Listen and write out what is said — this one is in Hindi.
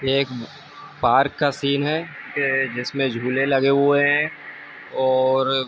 ये एक पार्क का सीन हैं। ये जिसमें झूले लगें हुए हैं और --